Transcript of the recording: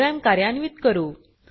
programme कार्यान्वीत करू